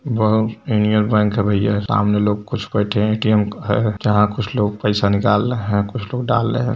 वहाँ यूनियन बैंक है भैय्या सामने लोग कुछ बैठे हैं एटीएम है | यहाँ कुछ लोग पैसा निकाल रहे हैं कुछ लोग डाल रहे हैं।